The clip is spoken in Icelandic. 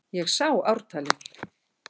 Ég sá ártalið!